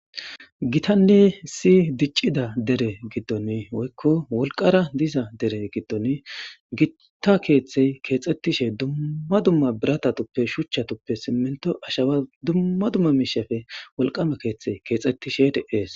Gitane issi dichida dere gidoni woyko wolqara diza deren gidoni Gita kethey kexetishe dumma dumma biratatupe shuchatupe siminto ashawa dumma dumma mishape wolqama kethiy kexetishe de'es